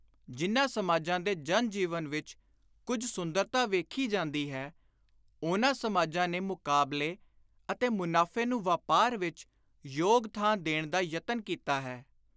ਜਿਨ੍ਹਾਂ ਸਮਾਜਾਂ ਦੇ ਜਨ-ਜੀਵਨ ਵਿਚ ਕੁਝ ਸੁੰਦਰਤਾ ਵੇਖੀ ਜਾਂਦੀ ਹੈ, ਉਨ੍ਹਾਂ ਸਮਾਜਾਂ ਨੇ ਮੁਕਾਬਲੇ ਅਤੇ ਮੁਨਾਫ਼ੇ ਨੂੰ ਵਾਪਾਰ ਵਿਚ ਯੋਗ ਥਾਂ ਦੇਣ ਦਾ ਯਤਨ ਕੀਤਾ ਹੈ।